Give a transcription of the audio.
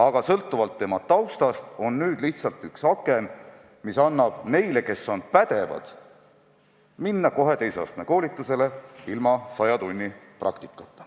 Aga sõltuvalt inimese taustast on nüüd lihtsalt üks aken lisaks, mis annab neile, kes on pädevad, võimaluse minna kohe edasi teise astme koolitusega, ilma et oleks vaja läbida saja tunni praktika.